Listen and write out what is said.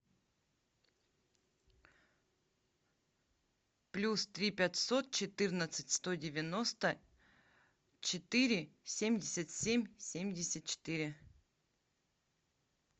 плюс три пятьсот четырнадцать сто девяносто четыре семьдесят семь семьдесят четыре